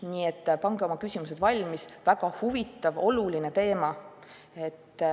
Nii et pange oma küsimused valmis, see on väga huvitav ja oluline teema.